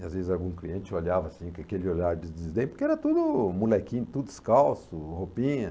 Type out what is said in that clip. E às vezes algum cliente olhava assim, com aquele olhar de desdém, porque era tudo molequinho, tudo descalço, roupinha.